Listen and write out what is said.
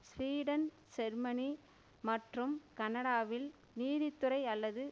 Sweden Germany மற்றும் கனடாவில் நீதித்துறை அல்லது